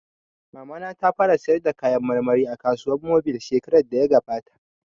Mamana ta fara sayar da kayan marmari a kasuwar mobil shekarar da ya gabata